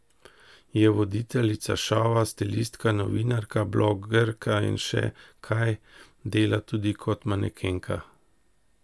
Je voditeljica šova, stilistka, novinarka, blogerka in še kaj, dela tudi kot manekenka.